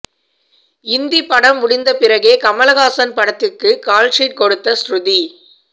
இந்தி படம் முடிந்த பிறகே கமல்ஹாசன் படத்துக்கு கால்ஷீட் கொடுத்த ஸ்ருதி